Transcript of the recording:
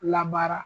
Labaara